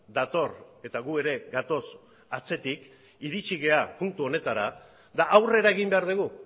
dator eta gu ere gatoz atzetik iritsi gara puntu honetara eta aurrera egin behar dugu